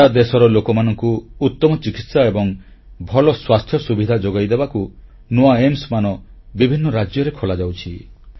ସାରା ଦେଶର ଲୋକମାନଙ୍କୁ ଉତ୍ତମ ଚିକିତ୍ସା ଏବଂ ଭଲ ସ୍ୱାସ୍ଥ୍ୟ ସୁବିଧା ଯୋଗାଇ ଦେବାକୁ ନୂଆ ଏମ୍ସ ହସ୍ପିଟାଲ ବିଭିନ୍ନ ରାଜ୍ୟରେ ଖୋଲାଯାଉଛି